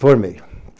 Formei.